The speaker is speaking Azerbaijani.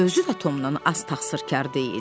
O özü də Tomdan az təqsirkar deyildi.